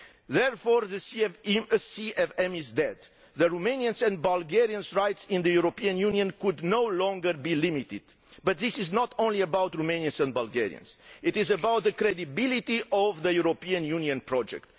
Therefore the CVM is dead Romanians' and Bulgarians' rights in the European Union should no longer be limited, but this is not only about Romanians and Bulgarians, it is about the credibility of the European Union project.